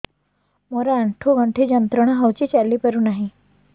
ମୋରୋ ଆଣ୍ଠୁଗଣ୍ଠି ଯନ୍ତ୍ରଣା ହଉଚି ଚାଲିପାରୁନାହିଁ